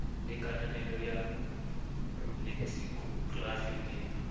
le kananelo ya leksikhokrafi le